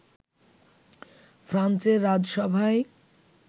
ফ্রান্সের রাজসভায়